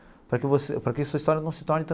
Para que você para que sua história não se torne.